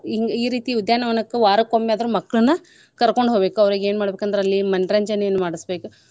ಹಿಂಗ ಈ ರೀತಿ ಉದ್ಯಾನ ವನಕ್ಕ ವಾರಕ್ಕೊಮ್ಮೆಯಾದ್ರೂ ಮಕ್ಳನ ಕರ್ಕೊಂಡ್ ಹೋಗ್ಬೇಕು ಅವರೀಗ್ ಏನ್ ಮಾಡ್ಬೇಕಂದ್ರ್ ಅಲ್ಲಿ ಮನರಂಜನೆಯನ್ನ ಮಾಡ್ಸಬೇಕು.